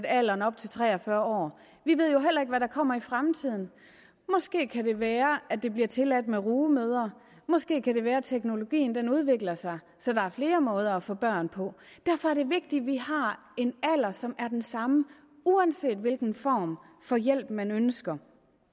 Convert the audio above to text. alderen op til tre og fyrre år vi ved jo heller ikke hvad der kommer i fremtiden måske kan det være at det bliver tilladt med rugemødre måske kan det være at teknologien udvikler sig så der er flere måder at få børn på derfor er det vigtigt at vi har en alder som er den samme uanset hvilken form for hjælp man ønsker